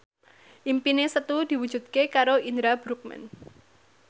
impine Setu diwujudke karo Indra Bruggman